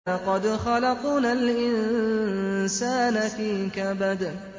لَقَدْ خَلَقْنَا الْإِنسَانَ فِي كَبَدٍ